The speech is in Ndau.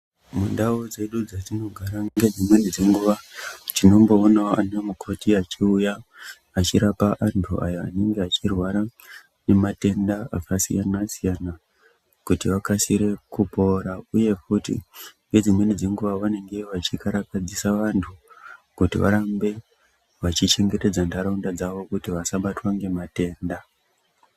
Mundau dzedu dzetinogara ngedzimweni dzenguwa tinomboonawo anamukhoti achiuya achirapa andu anenge achirwara ngematenda akasiyana siyana kuti akasire kupora uye futi ndedzimweni dzenguwa vanenge vechikara kadzisa vandu kuti varambe vachichengetedza ndaraunda dzawo kuti vasabatwe ngematenda.